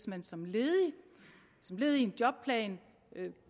man som ledig som led i en jobplan